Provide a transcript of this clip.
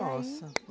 Nossa!